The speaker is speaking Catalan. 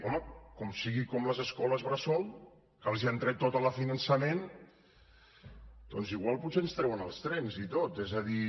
home com sigui com les escoles bressol que els han tret tot el finançament doncs potser ens treuen els trens i tot és a dir